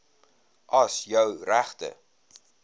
as jou regte